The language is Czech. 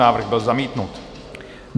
Návrh byl zamítnut.